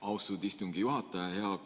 Austatud istungi juhataja!